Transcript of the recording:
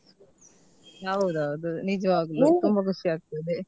ಹೌದೌದು ನಿಜವಾಗಲು ತುಂಬಾ ಖುಷಿ ಆಗ್ತದೆ.